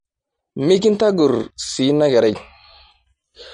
Mikintagorr sii nakerai